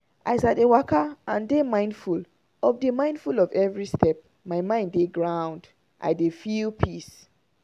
as i dey waka and dey mindful of dey mindful of every step my mind dey ground — i dey feel peace.